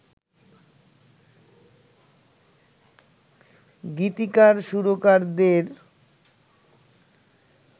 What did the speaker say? গীতিকার সুরকারদের